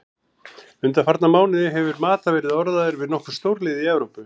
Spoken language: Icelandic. Undanfarna mánuði hefur Mata verið orðaður við nokkur stórlið í Evrópu.